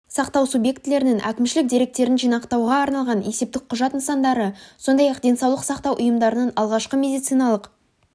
сақтау субъектілерінің әкімшілік деректерін жинауға арналған есептік құжат нысандары сондай-ақ денсаулық сақтау ұйымдарының алғашқы медициналық